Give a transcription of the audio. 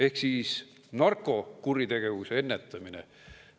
Ehk siis narkokuritegevuse ennetamine.